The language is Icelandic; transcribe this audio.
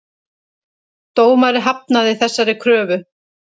Dómari hafnaði þessari kröfu